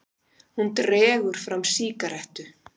Hún dregur fram sígarettu.